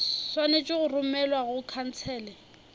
swanetše go romelwa go khansele